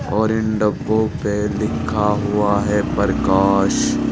और इन डब्बो पे लिखा हुआ है प्रकाश।